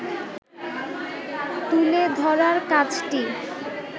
তুলে ধরার কাজটি